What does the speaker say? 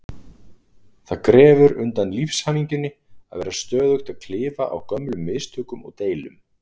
Það grefur undan lífshamingjunni að vera stöðugt að klifa á gömlum mistökum og deilum.